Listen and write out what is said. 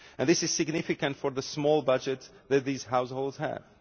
This is significant for the small budgets that these households have.